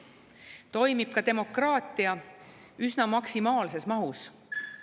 Toimib ka demokraatia üsna maksimaalses mahus.